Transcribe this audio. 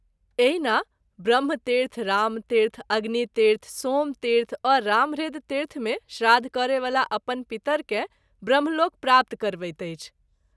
एहिना ब्रह्म तीर्थ, रामतीर्थ, अग्नितीर्थ, सोमतीर्थ और रामह्रदतीर्थ में श्राद्ध करय वला अपन पितर के ब्रह्मलोक प्राप्त करबैत अछि।